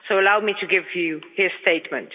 So allow me to give you his statement.